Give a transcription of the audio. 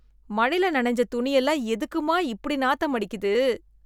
மழையில நினைஞ்ச துணி எல்லாம் எதுக்கும்மா இப்படி நாத்தம் அடிக்குது?